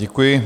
Děkuji.